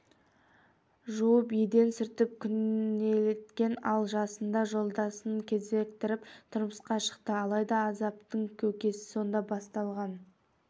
жуып еден сүртіп күнелткен ал жасында жолдасын кезіктіріп тұрмысқа шықты алайда азаптың көкесі сонда басталған